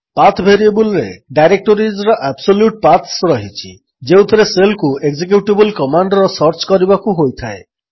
path ଭେରିଏବଲ୍ରେ ଡାଇରେକ୍ଟୋରିଜ୍ର absolute paths ରହିଛି ଯେଉଁଥିରେ ଶେଲ୍କୁ ଏକଜେକ୍ୟୁଟେବଲ୍ କମାଣ୍ଡର ସର୍ଚ୍ଚ କରିବାକୁ ହୋଇଥାଏ